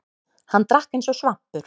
Hann drakk eins og svampur.